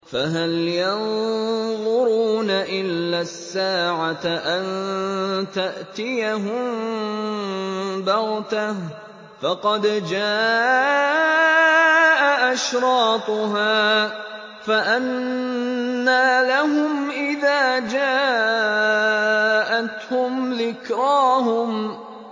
فَهَلْ يَنظُرُونَ إِلَّا السَّاعَةَ أَن تَأْتِيَهُم بَغْتَةً ۖ فَقَدْ جَاءَ أَشْرَاطُهَا ۚ فَأَنَّىٰ لَهُمْ إِذَا جَاءَتْهُمْ ذِكْرَاهُمْ